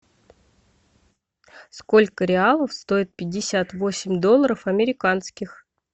сколько реалов стоит пятьдесят восемь долларов американских